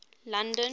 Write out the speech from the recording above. london